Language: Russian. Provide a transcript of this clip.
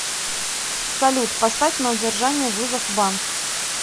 салют поставь на удержание вызов банк